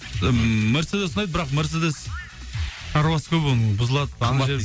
ммм мерседес ұнайды бірақ мерседес аралас қой бұл бұзылады